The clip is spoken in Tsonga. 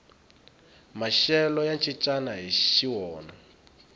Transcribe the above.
maxelo ya cincana hixi wona